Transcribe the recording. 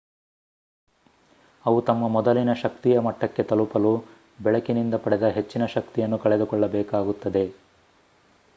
ಅವು ತಮ್ಮ ಮೊದಲಿನ ಶಕ್ತಿಯ ಮಟ್ಟಕ್ಕೆ ತಲುಪಲು ಬೆಳಕಿನಿಂದ ಪಡೆದ ಹೆಚ್ಚಿನ ಶಕ್ತಿಯನ್ನು ಕಳೆದುಕೊಳ್ಳಬೇಕಾಗುತ್ತದೆ